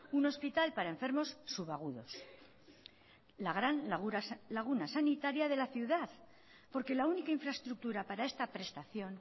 un hospital para enfermos sub agudos la gran laguna sanitaria de la ciudad porque la única infraestructura para esta prestación